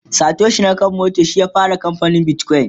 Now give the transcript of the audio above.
Satoshi nakamoto shi ya fara kamfanin bitcoin